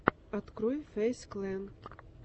открой фэйз клэн